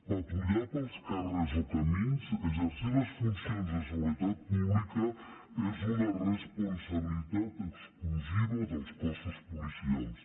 patrullar pels carrers o camins exercir les funcions de seguretat pública és una responsabilitat exclusiva dels cossos policials